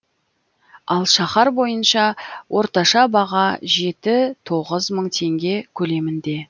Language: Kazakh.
ал шаһар бойынша орташа баға жеті тоғыз мың теңге көлемінде